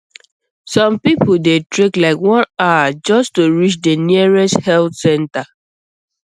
some people dey trek like one hour just to reach the nearest health center